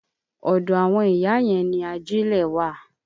Ọ̀dọ àwọn ìyá yẹn ni ajílẹ̀ wà.